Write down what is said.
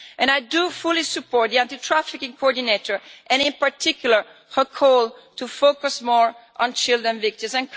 I do fully support the anti trafficking coordinator and in particular her call to focus more on child victims.